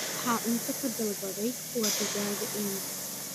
Waxaan cunto ka dalbaday Kwa digaag-inn